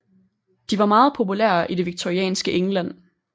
De var meget populære i det victorianske England